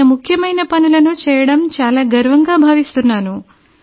ఆయన ముఖ్యమైన పనులను చేయడం చాలా గర్వంగా భావిస్తున్నాను